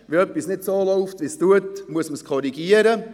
Wenn etwas nicht so läuft, wie es sollte, muss man es korrigieren.